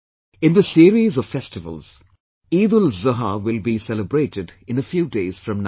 In this series of festivals, EidulZuha will be celebrated in a few days from now